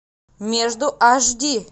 между аш ди